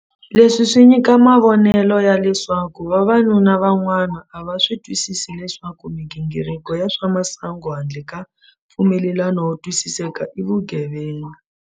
Leswi swi nyika mavonelo ya leswaku vavanuna van'wana a va swi twisisi leswaku migingiriko ya swa masangu handle ka mpfumelelano wo twisiseka i vugevenga.